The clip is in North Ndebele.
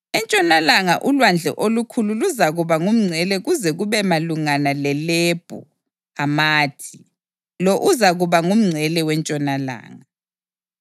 Entshonalanga uLwandle Olukhulu luzakuba ngumngcele kuze kube malungana leLebho Hamathi. Lo uzakuba ngumngcele wentshonalanga.